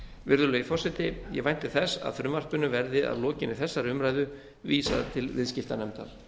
virðulegi forseti ég vænti þess að frumvarpinu verði að lokinni þessari umræðu vísað til viðskiptanefndar